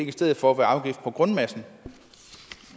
i stedet for være afgift på grundmassen